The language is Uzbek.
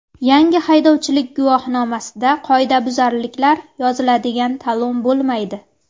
Yangi haydovchilik guvohnomasida qoidabuzarliklar yoziladigan talon bo‘lmaydi.